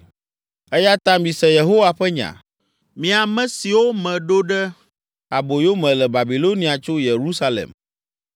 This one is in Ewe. Eya ta mise Yehowa ƒe nya, mi ame siwo meɖo ɖe aboyo me le Babilonia tso Yerusalem.